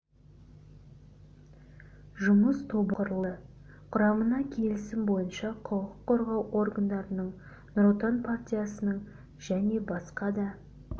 жұмыс тобы құрылды құрамына келісім бойынша құқық қорғау органдарының нұр отан партиясының және басқа да